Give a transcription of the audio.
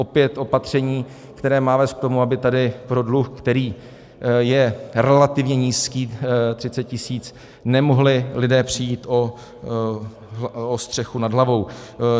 Opět opaření, které má vést k tomu, aby tady pro dluh, který je relativně nízký, 30 tisíc, nemohli lidé přijít o střechu nad hlavou.